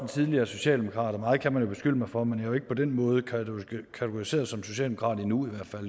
en tidligere socialdemokrat og meget kan man beskylde mig for men jo ikke på den måde kategoriseret som socialdemokrat endnu i hvert fald